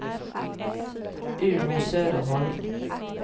Uno Söderholm